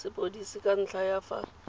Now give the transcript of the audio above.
sepodisi ka ntlha ya fa